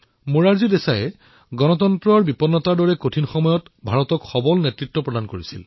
মোৰাৰজী দেশায়ে কঠিন সময়ত ভাৰতক নেতৃত্ব প্ৰদান কৰিছিল